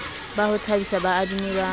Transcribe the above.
ba ho thabisa baadimi ba